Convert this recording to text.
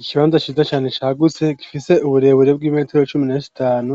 Ikibanza ciza cane cagutse gifise uburebure bw'imetero cumi na zitanu